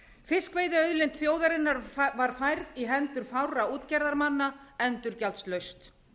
fiskveiðiauðlind þjóðarinnar var færð í hendur fárra útgerðarmanna endurgjaldslaust